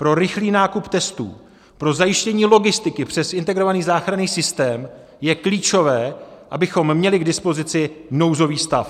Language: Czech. Pro rychlý nákup testů, pro zajištění logistiky přes Integrovaný záchranný systém je klíčové, abychom měli k dispozici nouzový stav.